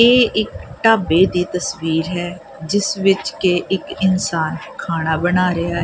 ਇਹ ਇੱਕ ਢਾਬੇ ਦੀ ਤਸਵੀਰ ਹੈ ਜਿਸ ਵਿੱਚ ਕੇ ਇੱਕ ਇਨਸਾਨ ਖਾਣਾ ਬਣਾ ਰਿਹਾ ਐ।